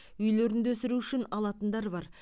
үйлерінде өсіру үшін алатындар бар